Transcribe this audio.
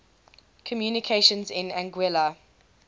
communications in anguilla